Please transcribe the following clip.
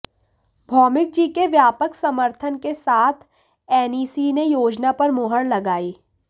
भौमिक जी के व्यापक समर्थन के साथ एनईसी ने योजना पर मुहर लगाई